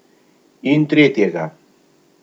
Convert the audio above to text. In tretjega.